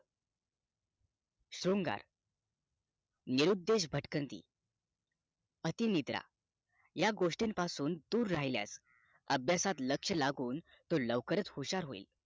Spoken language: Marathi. शृंगार निरूपदेश भटकंती अति निद्रा या गोष्टी पासून दूर राहिल्यास अभ्यासात लक्ष लागून तो लवकरच हुशार होईल